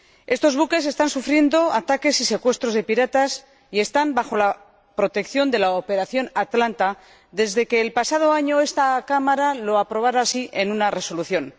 Estos buques están sufriendo ataques y secuestros de piratas y están bajo la protección de la Operación Atlanta, desde que el pasado año esta Cámara así lo aprobara en una resolución.